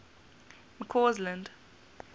mccausland